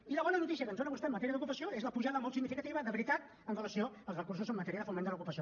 i la bona notícia que ens dóna vostè en matèria d’ocupació és la pujada molt significativa de veritat amb relació als recursos en matèria de foment de l’ocupació